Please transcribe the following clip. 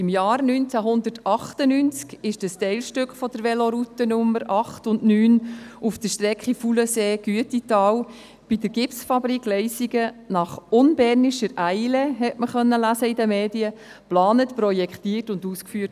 Im Jahr 1998 wurde das Teilstück der Velorouten mit den Nummern 8 und 9 auf der Strecke Faulensee-Güetital bei der Gipsfabrik Leissigen in «unbernischer Eile», wie man in den Medien lesen konnte, geplant, projektiert und ausgeführt.